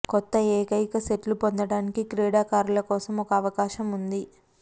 కొత్త ఏకైక సెట్లు పొందడానికి క్రీడాకారులు కోసం ఒక అవకాశం ఉంది